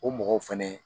O mɔgɔw fɛnɛ